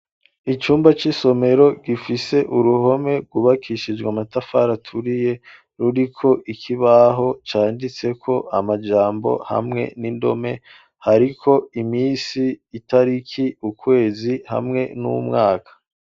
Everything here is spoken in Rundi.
Icumba c'isomero gifise uruhome rwubakishijwe amatafari aturiye, ruriko ikibaho canditseko amajambo hamwe n'indome, hariko imisi, itariki, ukwezi hamwe n'umwaka.